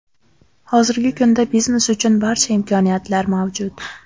Hozirgi kunda biznes uchun barcha imkoniyatlar mavjud.